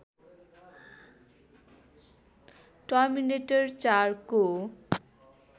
terminator ४ को